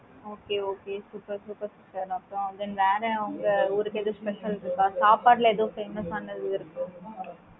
okay okay super super sister அப்பறம் then வேற உங்க ஊருக்கு எதும் special இருக்கா? சாப்பாட்டுல எதுவும் famous ஆனது இருக்கு